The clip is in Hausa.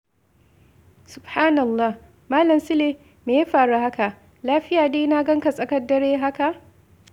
Subhanallah! Malam Sule, me ya faru haka? Lafiya dai na gan ka tsakar dare haka?